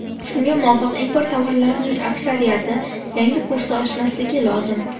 Shunga muvofiq, import tovarlarining aksariyati yangi kursda oshmasligi lozim.